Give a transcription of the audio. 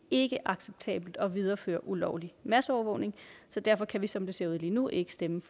ikke acceptabelt at videreføre ulovlig masseovervågning så derfor kan vi som det ser ud lige nu ikke stemme